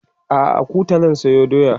a'a a Kuta zan sayo doya